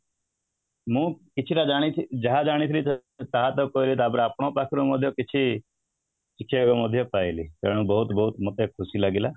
ମୁଁ କିଛିଟା ଜାଣିଛି ଯାହା ଜାଣିଥିଲି ତାହା ତ କହିଲି ତାପରେ ଆପଣଙ୍କ ପାଖ ରେ ମଧ୍ୟ କିଛି ଶିଖିବାକୁ ମଧ୍ୟ ପାଇଲି ତେଣୁ ବହୁତ ବହୁତ ମତେ ଖୁସି ଲାଗିଲା